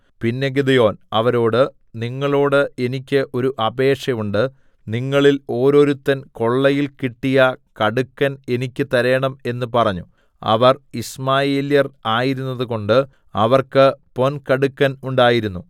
പിന്നെ ഗിദെയോൻ അവരോട് നിങ്ങളോടു എനിക്ക് ഒരു അപേക്ഷ ഉണ്ട് നിങ്ങളിൽ ഓരോരുത്തൻ കൊള്ളയിൽ കിട്ടിയ കടുക്കൻ എനിക്ക് തരേണം എന്ന് പറഞ്ഞു അവർ യിശ്മായേല്യർ ആയിരുന്നതുകൊണ്ട് അവർക്ക് പൊൻകടുക്കൻ ഉണ്ടായിരുന്നു